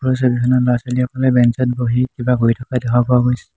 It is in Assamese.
ওপৰৰ ছবিখনত ল'ৰা ছোৱালীবোৰে বেঞ্চ ত বহি কিবা কৰি থকা দেখা পোৱা গৈছে।